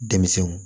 Denmisɛnw